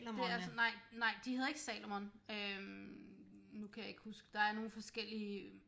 Det er sådan nej nej de hedder ikke Salomon øh nu kan jeg ikke huske der er nogle forskellige